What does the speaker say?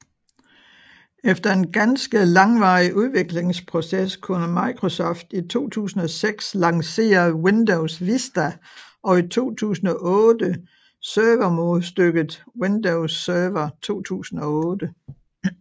Efter en ganske langvarig udviklingsproces kunne Microsoft i 2006 lancere Windows Vista og i 2008 servermodstykket Windows Server 2008